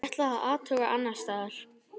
Ég ætla að athuga annars staðar.